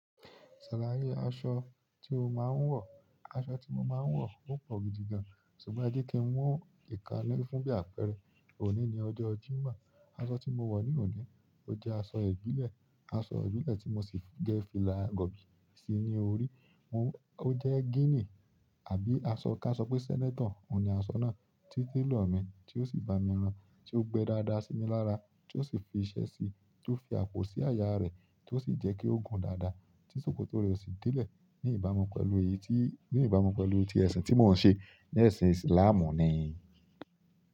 Aṣọ tí o máa ń wọ̀, aṣọ tí mo máa ń wọ̀ ó pọ̀ gidi gan. Ṣùgbọ́n ẹ jẹ́ kí n wọ̀n ìkáń ni fún bí àpẹẹrẹ. Òní ni ọjọ́ Jímọ̀, aṣọ tí mo wọ̀ ní òní ó jẹ́ aṣọ ìbílẹ̀, aṣọ ìbílẹ̀ tí mo sì dé fìlà gọ̀bìì sí ní orí. Ó jẹ́ gínì àbí asọ kí a sọ pé sẹ́nétọ̀, òun ni aṣọ náà tí télọ̀ mi tí ó sì ba mi rán, tí ó gbẹ dáadáa sí mi lára, tí ó sì fi iṣẹ́ síi, tí ó fi àpò sí àyà rẹ̀, tí ó sì jẹ́ kí ó gùn dáadáa, tí ṣòkòtò rẹ̀ ó sì dílẹ̀ ní ìbámu pẹ̀lú ẹyi tí, ní ìbámu pẹ̀lú ti ẹ̀sìn tí mò ń ṣe ní ẹ̀sìn Islam ni.